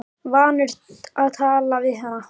Vanur að tala við hana í hálfkæringi.